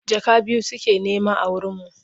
Jaka biyu suke nema a wurinmu.